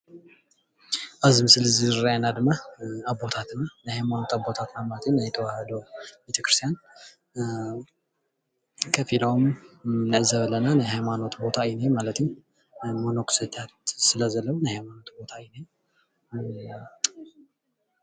ኣብዚ ምስሊ ዝርአየና ድማ ኣቦታትን ናይ ሃይማኖት ኣቦታትን ናይ ተዋህዶ ቤቴክርስትያን ከፊሎሞ ንዕዘብ አለና ናይ ሃይማኖት ቦታ እዩ እኒሆ ማለት እዩ። ፈለስቲ ዘለውሉ ስለዘለው ናይ ሃይማኖት ቦታ እዩ።